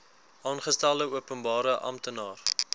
aangestelde openbare amptenaar